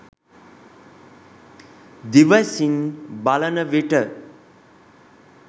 දිවැසින් බලන විට